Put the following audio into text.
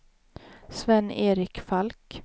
Sven-Erik Falk